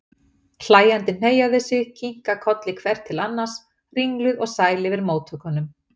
Hlæjandi hneigja þau sig, kinka kolli hvert til annars, ringluð og sæl yfir móttökunum.